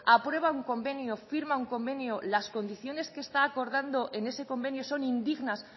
aprueba un convenio firma un convenio las condiciones que está acordando en ese convenio son indignas